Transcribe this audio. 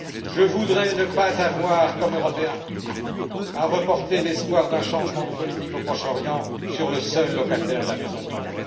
Je voudrais ne pas avoir, comme Européen, à reporter l'espoir d'un changement de politique au Proche Orient sur le seul locataire de la Maison blanche.